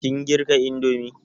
Kin girka indomi?